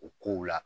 O kow la